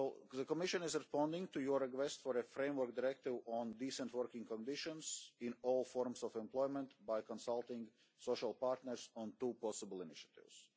The Commission is responding to your request for a framework directive on decent working conditions in all forms of employment by consulting social partners on two possible initiatives.